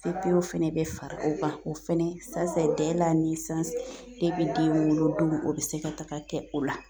OPO fɛnɛ bɛ fara o kan o fɛnɛ den wolo don o bi se ka taga kɛ o la